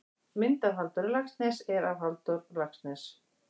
Mynd af Halldóri Laxness er af Halldór Laxness.